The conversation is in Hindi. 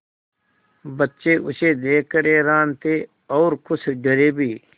बच्चे उसे देख कर हैरान थे और कुछ डरे भी